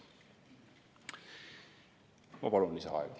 Ma palun lisaaega!